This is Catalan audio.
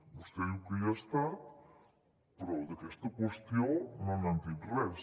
vostè diu que hi ha estat però d’aquesta qüestió no n’han dit res